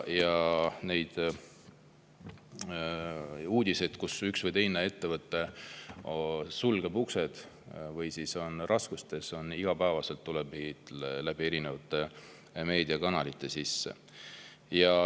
Neid uudiseid, et üks või teine ettevõte sulgeb uksed või on raskustes, tuleb igapäevaselt erinevate meediakanalite kaudu.